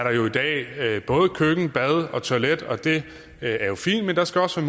både køkken bad og toilet det er jo fint men der skal også